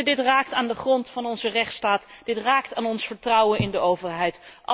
Dit raakt aan de grond van onze rechtsstaat, dit raakt aan ons vertrouwen in de overheid.